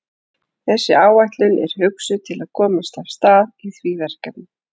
Þessi áætlun er hugsuð til að komast af stað í því verkefni.